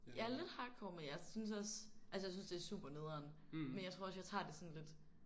Ja lidt hardcore men jeg synes også altså jeg synes det er super nederen men jeg tror også jeg tager det sådan lidt